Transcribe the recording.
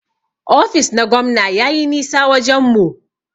Ofis na gwamna yayi nisa wajen mu.